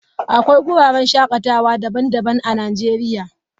Akwai wuraren shakatawa daban-daban a Najeriya.